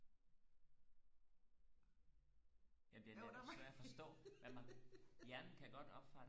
ja den er lidt svær og forstå hjernen kan godt opfange